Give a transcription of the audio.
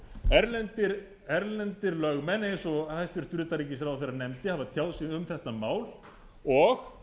sjálfir erlendir lögmenn eins og hæstvirtur utanríkisráðherra nefndi hafa tjáð sig um þetta mál og